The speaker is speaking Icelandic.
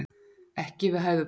Ekki við hæfi barna